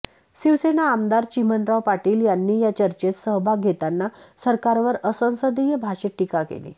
शिवसेना आमदार चिमणराव पाटील यांनी या चर्चेत सहभाग घेताना सरकारवर असंसदीय भाषेत टीका केली